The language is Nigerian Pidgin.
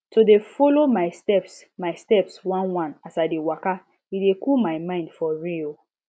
to dey follow my steps my steps oneone as i dey waka e dey cool my mind for real